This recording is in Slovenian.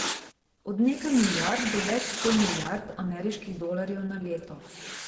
Od nekaj milijard do več sto milijard ameriških dolarjev na leto.